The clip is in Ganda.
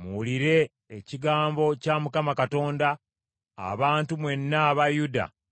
“Muwulire ekigambo kya Mukama Katonda, abantu mwenna aba Yuda mu Misiri.